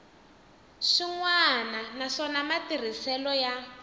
swin wana naswona matirhiselo ya